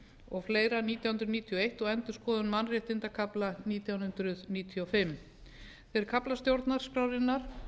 og fleira nítján hundruð níutíu og eins og endurskoðaður mannréttindakafli nítján hundruð níutíu og fimm þeir kaflar stjórnarskrárinnar